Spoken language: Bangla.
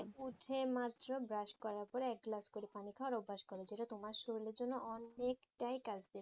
উঠে মাত্র brush করার পরে এক glass করে পানি খাওয়ার অভ্যেস করো যেটা তোমার শরীরের জন্য অনেকটাই কাজ দেবে